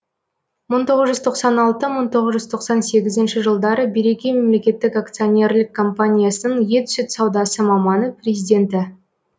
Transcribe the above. мың тоғыз жүз тоқсан алты мың тоғыз жүз тоқсан сегізінші жылдары береке мемлекеттік акционерлік компаниясының ет сүт саудасы маманы президенті